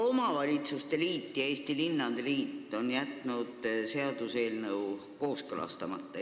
Maaomavalitsuste liit ja linnade liit on jätnud seaduseelnõu kooskõlastamata.